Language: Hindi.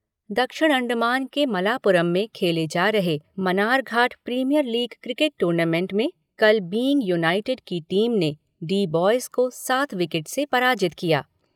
दक्षिण अण्डमान के मलापुरम में खेले जा रहे Manarghat premier league cricket tournament में कल बीइंग यूनाइटेड की टीम ने डी बॉयज़ को सात विकेट से पराजित किया।